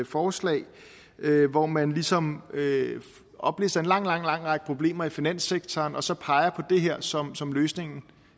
forslag hvor man ligesom oplister en lang lang række problemer i finanssektoren og så peger man det her som som løsningen